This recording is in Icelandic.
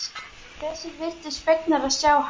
Þeir virtust fegnir að sjá hann.